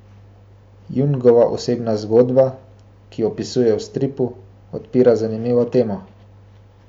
Jungova osebna zgodba, ki jo opisuje v stripu, odpira zanimivo temo.